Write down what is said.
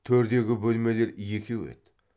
төрдегі бөлмелер екеу еді